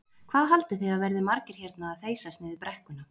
Hvað haldið þið að verði margir hérna að þeysast niður brekkuna?